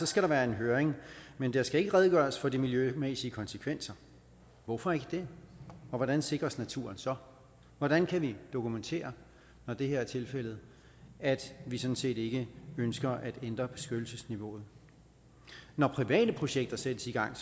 skal der være en høring men der skal ikke redegøres for de miljømæssige konsekvenser hvorfor ikke det og hvordan sikres naturen så hvordan kan vi dokumentere når det her er tilfældet at vi sådan set ikke ønsker at ændre beskyttelsesniveauet når private projekter sættes i gang